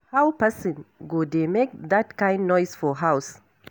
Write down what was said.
How person go dey make dat kin noise for house.